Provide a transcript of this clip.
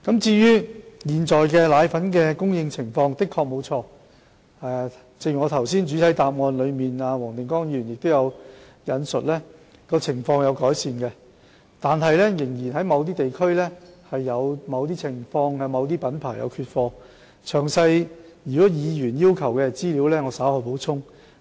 至於現時配方粉的供應情況，正如黃定光議員剛才在主體質詢中引述，情況有所改善，但在某些地區仍有某些品牌的配方粉缺貨，如果議員要求詳細的資料，我稍後會補充。